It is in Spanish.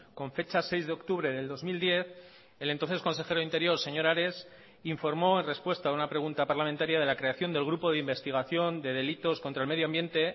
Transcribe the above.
con fecha seis de octubre del dos mil diez el entonces consejero de interior señor ares informó en respuesta a una pregunta parlamentaria de la creación del grupo de investigación de delitos contra el medio ambiente